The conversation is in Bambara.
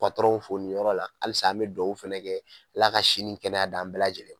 fo nin yɔrɔ la halisa an bɛ duwawu fana kɛ Ala ka si nin kɛnɛya di an bɛɛ lajɛlen